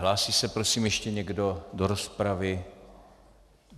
Hlásí se prosím ještě někdo do rozpravy?